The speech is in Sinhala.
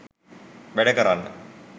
වැඩ කරන්න.